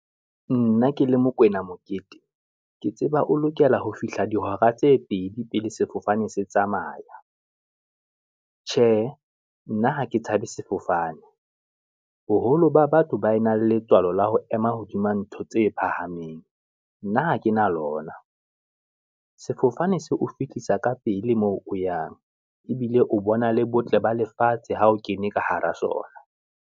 Nna ke le Mokwena Mokete, ke tseba o lokela ho fihla dihora tse pedi pele sefofane se tsamaya, tjhe nna ha ke tshabe sefofane, boholo ba batho ba nang le letswalo la ho ema hodima ntho tse phahameng, nna ha ke na lona. Sefofane se o fihlisa ka pele moo o yang, ebile o bona le botle ba lefatshe ha o kene ka hara sona.